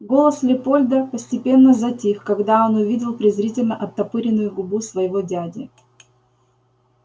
голос лепольда постепенно затих когда он увидел презрительно оттопыренную губу своего дяди